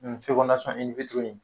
ye.